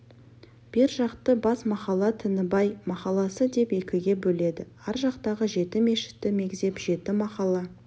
бер жақты бас махалла тінібай махалласы деп екіге бөледі ар жақтағы жеті мешітті мегзеп жеті махалла